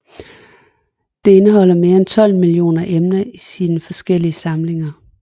Det indeholder mere end 12 millioner emner i sine forskellige samlinger